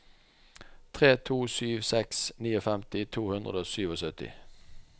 tre to sju seks femtini to hundre og syttisju